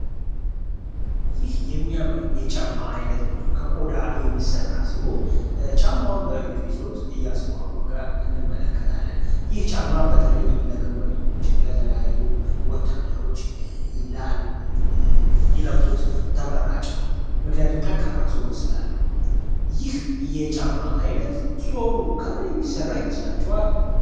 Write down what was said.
ይህ የሚያምር የጫማ ዓይነት ነው ከቆዳ የሚሠራ ሲሆን ፤ በእጁ ይዞት እያስተዋወቀ እንመለከታለን። ይህ ጫማ በተለይ ለግንበኞች ለተለያዩ ወታደሮች ይላል ምክንያቱም ጠንካራ ስላለው ይህ ጫማ አይነት ሶሉ ከምን የሚሰራ ይመስላችኋል?